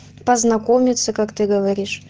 познакомиться как ты